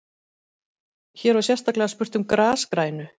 Hér var sérstaklega spurt um grasgrænu.